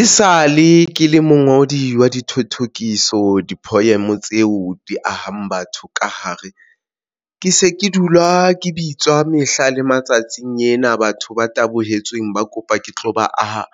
E sale ke le mongodi wa dithothokiso di-poem tseo di ahang batho ka hare ke se ke dula ke bitswa mehla le matsatsi ena. Batho ba tabohe jetsweng, ba kopa ke tlo ba aha.